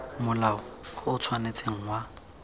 molao o o tshwanetseng wa